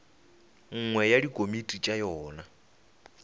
nngwe ya dikomiti tša yona